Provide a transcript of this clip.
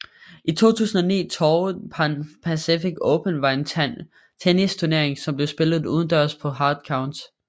2009 Toray Pan Pacific Open var en tennisturnering som blev spillet udendørs på hard courts